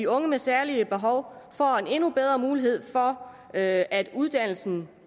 unge med særlige behov får en endnu bedre mulighed for at at uddannelsen